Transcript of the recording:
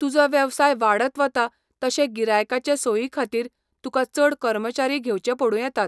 तुजो वेवसाय वाडत वता तशे गिरायकांचे सोयीखातीर तुका चड कर्मचारी घेवचे पडूं येतात.